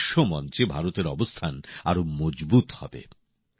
এতে বিশ্বমঞ্চে ভারতের অবস্থান আরো মজবুত হবে